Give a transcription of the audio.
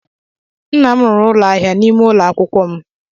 Nna m rụrụ ụlọ ahịa n'ime ụlọ akwụkwọ m.